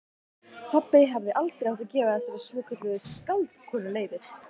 Pabbi hefði aldrei átt að gefa þessari svokölluðu skáldkonu leyfið.